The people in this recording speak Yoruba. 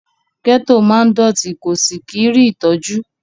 Gẹ́tò máa ń dọ̀tí kò sì kí rí ìtọ́jú.